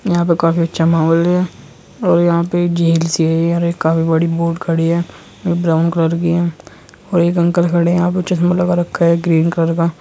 यहा पे काफी अच्छा माहौल है और यहाँ पे झील सी है और काफी बड़ी बोट खड़ी है। ब्राउन कलर की और एक अंकल खड़े है। यहा पर चस्मा लगा रखा है। ग्रीन कलर का।